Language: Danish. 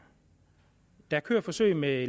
der kører forsøg med